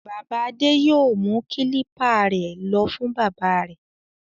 Bàbá Adé yóò mú kílípà rẹ̀ lọ fún bábà rẹ̀.